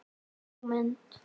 Sú mynd.